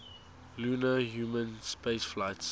lunar human spaceflights